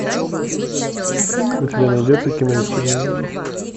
у тебя найдется кино исчезновение